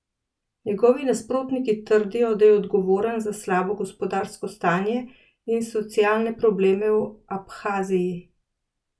Njegovi nasprotniki trdijo, da je odgovoren za slabo gospodarsko stanje in socialne probleme v Abhaziji.